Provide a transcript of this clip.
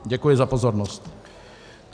Děkuji za pozornost.